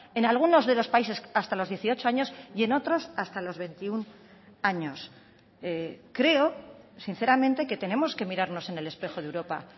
en algunos de los países hasta los dieciocho años y en otros hasta los veintiuno años creo sinceramente que tenemos que mirarnos en el espejo de europa